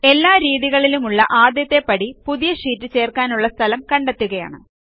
എല്ലാ രീതികളിലും ഉള്ള ആദ്യത്തെ പടി പുതിയ ഷീറ്റ് ചേർക്കാനുള്ള സ്ഥലം കണ്ടെത്തുകയാണ്